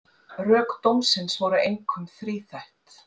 Rök dómsins voru einkum þríþætt